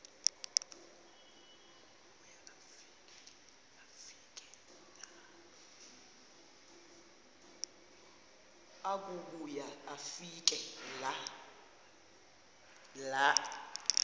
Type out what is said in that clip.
akubuya afike laa